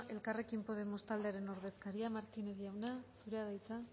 elkarrekin podemos taldearen ordezkaria martínez jauna zurea da hitza